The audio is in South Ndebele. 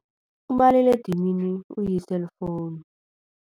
Umaliledinini uyi-cellphone.